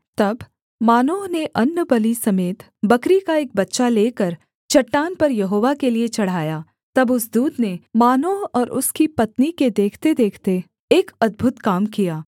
तब मानोह ने अन्नबलि समेत बकरी का एक बच्चा लेकर चट्टान पर यहोवा के लिये चढ़ाया तब उस दूत ने मानोह और उसकी पत्नी के देखतेदेखते एक अद्भुत काम किया